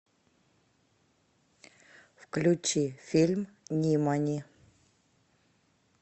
включи фильм нимани